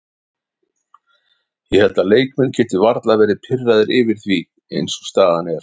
Ég held að leikmenn geti varla verði pirraðir yfir því eins og staðan er.